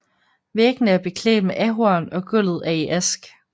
Væggene er beklædt med ahorn og gulvet er i ask